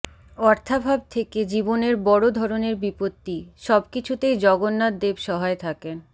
অর্থাভাব থেকে জীবনের বড় ধরনের বিপত্তি সব কিছুতেই জগন্নাথ দেব সহায় থাকেন